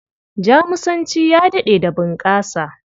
Jamusanci ya daɗe da bunƙasa.